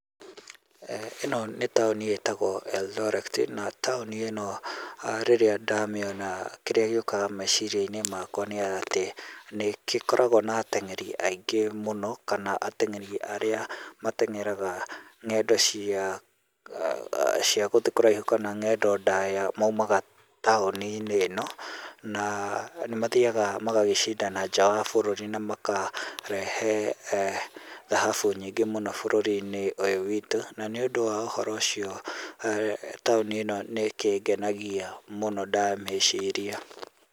Ĩno nĩ taũni ĩtagwo Eldoret, taũni ĩno rĩrĩa ndamĩona kĩrĩa gĩũkaga meciria-inĩ makwa nĩ atĩ gĩkoragwo na ateng'eri aingĩ mũno kana ateng'eri arĩa mateng'eraga ng'endo cia aa gũthiĩ kũraihu kana ng'endo ndaya maumaga taũninĩ ĩno, na nĩ magĩthiaga magagĩcindana nja wa bũrũri na makarehe thahabu nyingĩ mũno bũrũri-inĩ ũyũ witũ na nĩ ũndũ wa ũhoro ũcio taũni ĩno nĩ ĩkĩngenagia mũno ndamĩciria.